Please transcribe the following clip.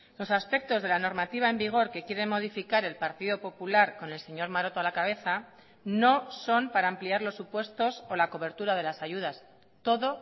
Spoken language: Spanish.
los aspectos de la normativa en vigor que quiere modificar el partido popular con el señor maroto a la cabeza no son para ampliar los supuestos o la cobertura de las ayudas todo